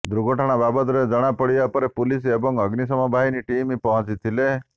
ଦୁର୍ଘଟଣା ବାବଦରେ ଜଣା ପଡ଼ିବା ପରେ ପୁଲିସ ଏବଂ ଅଗ୍ନିଶମ ବାହିନୀ ଟିମ୍ ପହଞ୍ଚିଥିଲେ